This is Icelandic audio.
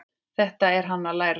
Þetta er hann að læra!